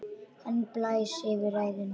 Hann blæs eftir ræðuna.